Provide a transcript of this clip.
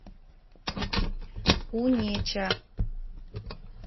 унеча